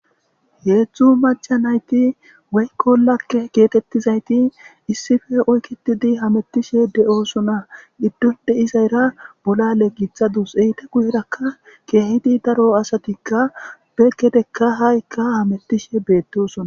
Heedzdzu macca nayti woyko lagge geetettizayti issippe oykitidi hamettishe de7oosona. Giddon de7izayra bolale gixdus. Eeti guyerakka keehidi daro asatikka beekedekka haykka hamettishe beettosona.